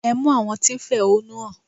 Ẹ mú àwọn tí ń fẹ̀họ́núhàn!